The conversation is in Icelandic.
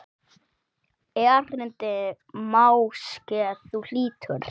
Erindi máske þú hlýtur.